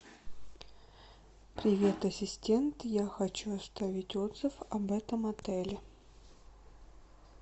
привет ассистент я хочу оставить отзыв об этом отеле